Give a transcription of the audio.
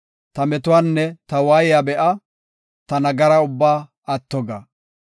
Ta metuwanne ta waayiya be7a; ta nagara ubbaa atto ga.